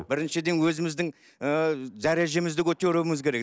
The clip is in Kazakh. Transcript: біріншіден өзіміздің ыыы дәрежемізді көтеруіміз керек